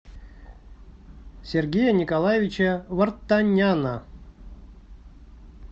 сергея николаевича вартаняна